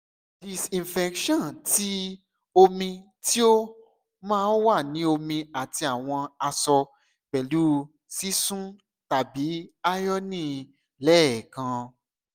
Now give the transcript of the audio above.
disinfection ti omi ti o wa ni omi ati awọn aṣọ pẹlu sisun tabi ironing lẹẹkan